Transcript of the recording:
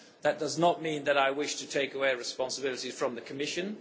That does not mean that I wish to take away responsibilities from the Commission.